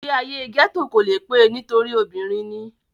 ìgbé ayé gẹ́tò kò le pé e nítorí obìnrin ni